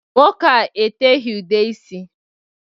Nwoke a etegi ude isi